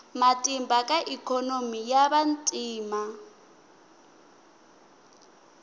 matimba ka ikhonomi ya vantima